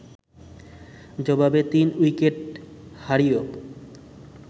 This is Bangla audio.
জবাবে ৩ উইকেট হারিয়